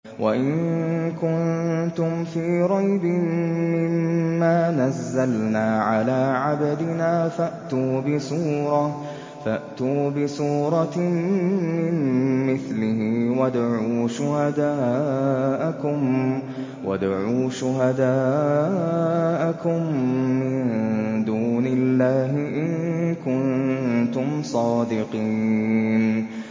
وَإِن كُنتُمْ فِي رَيْبٍ مِّمَّا نَزَّلْنَا عَلَىٰ عَبْدِنَا فَأْتُوا بِسُورَةٍ مِّن مِّثْلِهِ وَادْعُوا شُهَدَاءَكُم مِّن دُونِ اللَّهِ إِن كُنتُمْ صَادِقِينَ